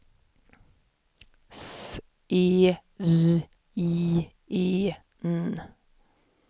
S E R I E N